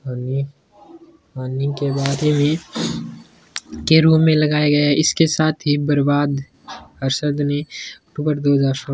के रूम में लगाया गया है इसके साथ बर्बाद हरसद ने --